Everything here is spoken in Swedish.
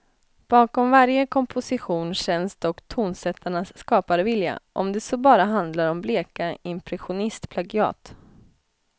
Bakom varje komposition känns dock tonsättarnas skaparvilja, om det så bara handlar om bleka impressionistplagiat.